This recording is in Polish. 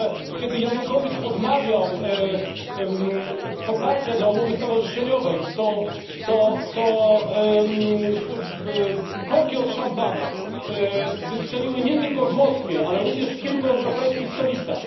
Kiedy Janukowycz odmawiał poparcia dla umowy stowarzyszeniowej, to korki od szampana wystrzeliły nie tylko w Moskwie, ale również w kilku europejskich stolicach.